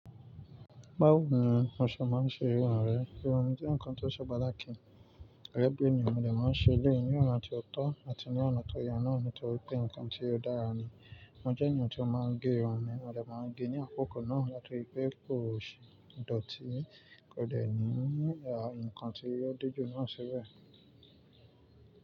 Báwo ni oṣọ máa ń ṣe irun ààrẹ? Irun jẹ́ nǹkan tó ṣọ báláà kì ì. Ẹ̀gbẹ́ nìyẹn wọ́n lẹ̀ máa ń ṣe léè ní òun àti ọ̀tọ̀ àti ní ọ̀nà tó yẹ náà nítorí pé nǹkan tí ó dára ni. Mọ́ jẹ́ ènìyàn tí ó máa ń gé irun ni wọ́n lẹ̀ máa ń gé ní àkókò náà láti ìpè òṣì, ìdọ̀tí kò dẹ̀ ní à nǹkan tí ó dé jù náà ṣíbẹ̀.